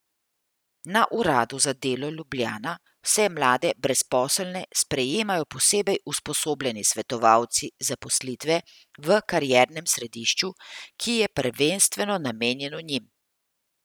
Na Uradu za delo Ljubljana vse mlade brezposelne sprejemajo posebej usposobljeni svetovalci zaposlitve v kariernem središču, ki je prvenstveno namenjeno njim.